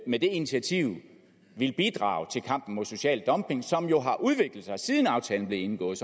med det initiativ vil bidrage til kampen mod social dumping som jo har udviklet sig siden aftalen blev indgået